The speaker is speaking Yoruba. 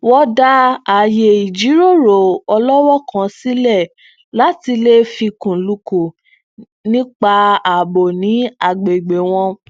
wọn dá aaye ìjíròrò ọlọwọọ kan sílẹ láti le fikunlukun nípa ààbò ní agbègbè wọn